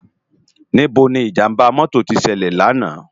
Nibó ni ijàmbá mòtó ti sèlè làná?